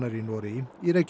í Noregi